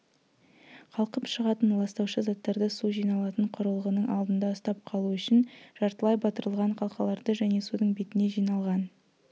қалқып шығатын ластаушы заттарды су жиналатын құрылғының алдында ұстап қалу үшін жартылай батырылған қалқаларды және судың бетіне жиналған